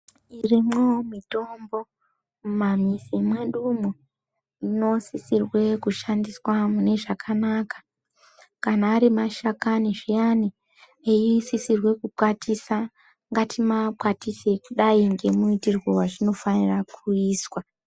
Irimwo mitombo mumamizi mwedumo inosisirwe kushandiswa munezvakanaka. Kana ari mashakani zviyani eisisirwe kukwatiswa, ngatimakwatise kudai ngemuitirwe wezvinofanirwe kuizwa.